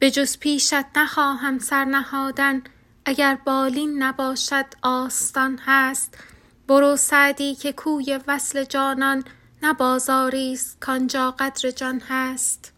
بجز پیشت نخواهم سر نهادن اگر بالین نباشد آستان هست برو سعدی که کوی وصل جانان نه بازاریست کان جا قدر جان هست